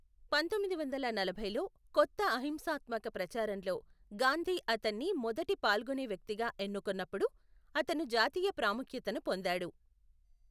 పంతొమ్మిది వందల నలభైలో, కొత్త అహింసాత్మక ప్రచారంలో గాంధీ అతన్ని మొదటి పాల్గొనే వ్యక్తిగా ఎన్నుకొన్నప్పుడు, అతను జాతీయ ప్రాముఖ్యతను పొందాడు.